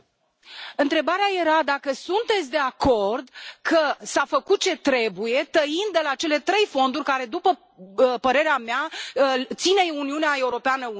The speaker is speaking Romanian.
Întrebarea era dacă sunteți de acord că s a făcut ce trebuie tăind de la cele 3 fonduri, care, după părerea mea, țin Uniunea Europeană unită.